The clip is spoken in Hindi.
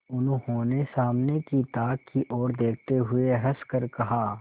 उन्होंने सामने की ताक की ओर देखते हुए हंसकर कहा